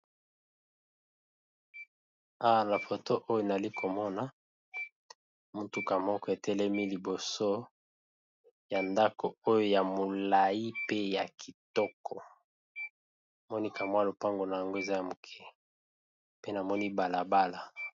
Foto oyo, nali komona motuka moko etelemi liboso ya ndako ya molayi ezali pe na lopango na yango liboso ya balabala.